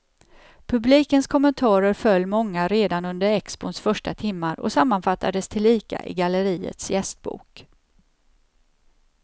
Publikens kommentarer föll många redan under expons första timmar och sammanfattades tillika i galleriets gästbok.